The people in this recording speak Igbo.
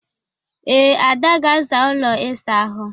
Ee, Ada ga-aza ụlọ ịsa ahụ.